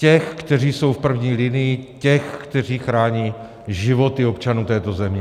Těch, kteří jsou v první linii, těch, kteří chrání životy občanů této země.